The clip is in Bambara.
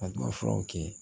A ma furaw kɛ